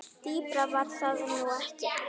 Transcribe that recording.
Dýpra var það nú ekki.